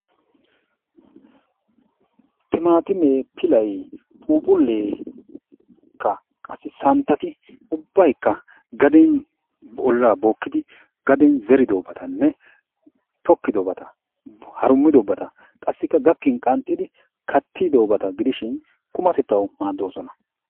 Timaatimee, pilay, phuuphuleekka qassi santtati ubbaykka gaden ollaa bookkidi gaden zeridobatanne tokkidobata harummidobata qassikka gakkin qaxxidi kattidobata gidishin qumatettawu maaddoosona.